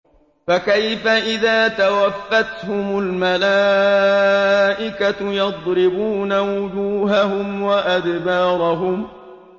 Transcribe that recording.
فَكَيْفَ إِذَا تَوَفَّتْهُمُ الْمَلَائِكَةُ يَضْرِبُونَ وُجُوهَهُمْ وَأَدْبَارَهُمْ